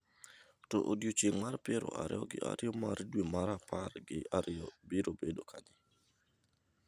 To odiechieng’ mar piero ariyo gi ariyo mar dwe mar apar gi ariyo biro bedo kanye?